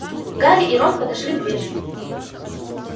гарри и рон подошли поближе